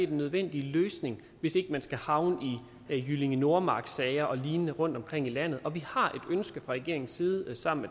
nødvendige løsning hvis ikke man skal havne i jyllinge nordmark sager og lignende rundtomkring i landet og vi har et ønske fra regeringens side sammen